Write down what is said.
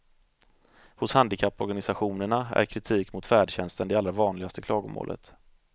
Hos handikapporganisationerna är kritik mot färdtjänsten det allra vanligaste klagomålet.